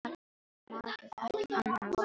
Maður getur ekki annað en vorkennt þessu fólki.